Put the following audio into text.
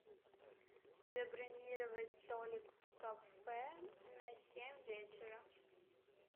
забронировать столик в кафе на семь вечера